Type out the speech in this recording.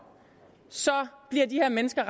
bliver de her mennesker